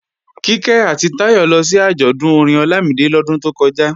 Kíkẹ́ àti Táyọ lọ sí àjọ̀dún orin Ọlámídé lọ́dún tó kọjá